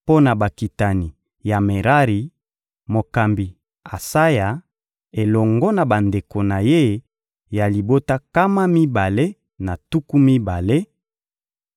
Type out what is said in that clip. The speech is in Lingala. mpo na bakitani ya Merari: mokambi Asaya elongo na bandeko na ye ya libota nkama mibale na tuku mibale;